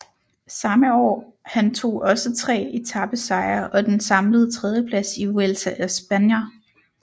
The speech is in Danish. Samme år han tog også tre etapesejre og den samlede tredjeplads i Vuelta a España